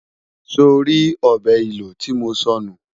sọ rí ọbẹ ìlò tí mọ sọ nù?